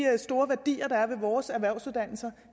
store værdier der er i vores erhvervsuddannelser